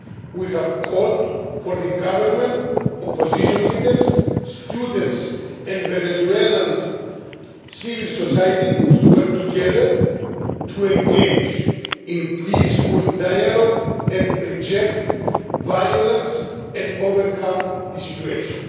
We have called for the government, opposition leaders, students and Venezuela's civil society to work together to engage in peaceful dialogue and reject violence and overcome the situation.